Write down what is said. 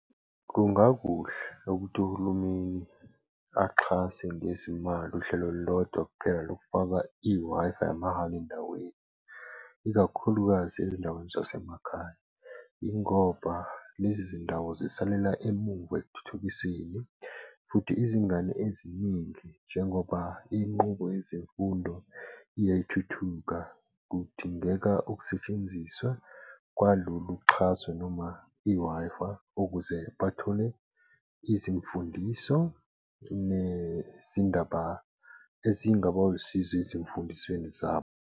Kungakuhle ukuthi uhulumeni axhase ngezimali uhlelo olulodwa kuphela lokufaka i-Wi-Fi yamahhala endaweni ikakhulukazi ezindaweni zasemakhaya. Ingoba lezi zindawo zisalela emuva ekuthuthukiseni futhi izingane eziningi, njengoba inqubo yezemfundo iyayithuthuka, kudingeka ukusetshenziswa kwalolu xhaso noma i-Wi-Fi ukuze bathole izimfundiso nezindaba ezingaba usizo ezimfundisweni zabo.